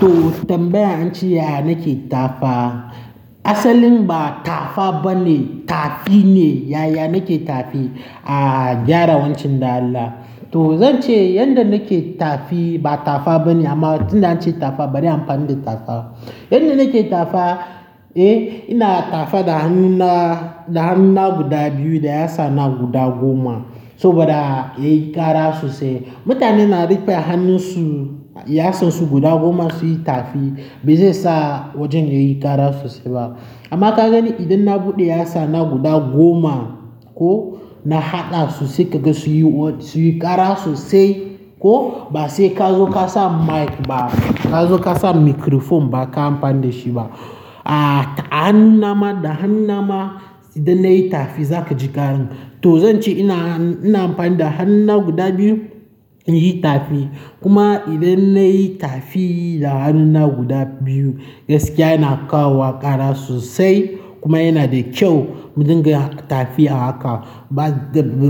To tambaya an ce yaya nake tafa. Asalin ba tafa bane, tafi ne. Yaya nake tafi? A, gyara wancan dan Allah. To zan ce yanda nake tafi ba tafa bane amma tun da an ce tafa bari an fara da tafa. Yanda nake tafa, eh ina tafa da hannuna, da hannuna guda biyu da ya sa na guda goma saboda yayi ƙara sosai. Mutane na rike hannunsu yasansu guda goma suyi tafi ba zai sa wajen yayi ƙara sosai ba. Amma ka gani idan na buɗe ya sa na guda goma ko na haɗa sosai kaga sunyi, sunyi ƙara sosai ko ba sai ka zo ka sa mic ba, ka zo ka sa microphone ba ka amfani ɗa shi ba. A hannuna ma da hannuna ma idan na yi tafi zaka ji ƙaran. To zan ce ina, ina amfani da hannuna guda biyu in yi tafi. Kuma idan na yi tafi da hannuna guda biyu gaskiya yana kawowa ƙara sosai kuma yana da kyau mu dinga tafi a haka. Ba,